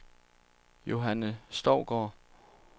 Johanne Stougaard